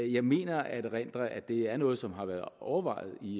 jeg mener at erindre at det er noget som har været overvejet i